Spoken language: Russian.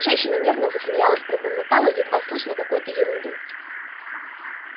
женщина нервно засмеялась пробормотала едва слышно какую-то ерунду